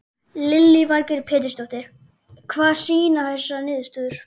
Lillý Valgerður Pétursdóttir: Hvað sýna þessar niðurstöður?